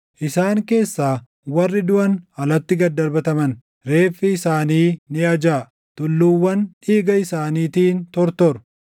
Isaan keessaa warri duʼan alatti gad darbataman; reeffi isaanii ni ajaaʼa; tulluuwwan dhiiga isaaniitiin tortoru.